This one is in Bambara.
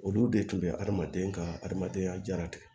Olu de tun bɛ adamaden ka hadamadenya jara kɛ